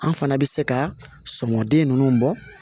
An fana bɛ se ka sɔmden ninnu bɔ